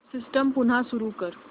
system पुन्हा सुरू कर